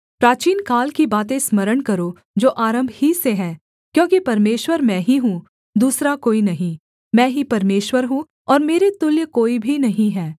प्राचीनकाल की बातें स्मरण करो जो आरम्भ ही से है क्योंकि परमेश्वर मैं ही हूँ दूसरा कोई नहीं मैं ही परमेश्वर हूँ और मेरे तुल्य कोई भी नहीं है